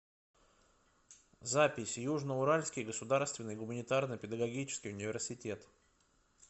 запись южно уральский государственный гуманитарно педагогический университет